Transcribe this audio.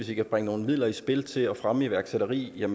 vi kan bringe nogle midler i spil til at fremme iværksætteri